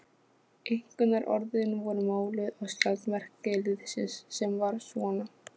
Einkunnarorðin voru máluð á skjaldarmerki liðsins, sem var svona